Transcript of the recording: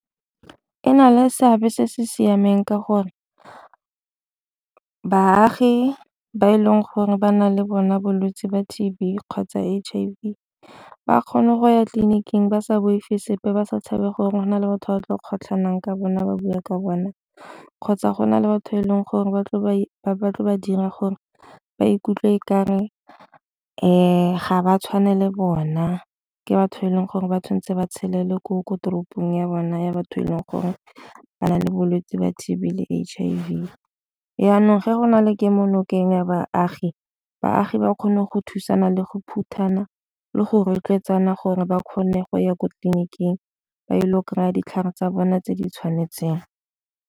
E na le seabe se se siameng ka gore baagi ba e leng gore ba na le bona bolwetse ba T_B kgotsa H_I_V ba kgone go ya tleliniking ba sa boife sepe ba sa tshabe gore go na le batho ba tlo kgotlhanong ka bona ba bua ka bona kgotsa gona le batho e leng gore batle ba tle ba dira gore ba ikutlwe e kare ga ba tshwane le bona ke batho e leng gore ba tshwanetse ba tsholelwe ko ko toropong ya bona ya batho e leng gore ba na le bolwetse ba T_B le H_I_V. Jaanong fa go na le kemo nokeng ya baagi, baagi ba kgone go thusana le go phutha ena le go rotloetsana gore ba kgone go ya ko tleliniking ba ile go kry-a ditlhare tsa bona tse di tshwanetseng.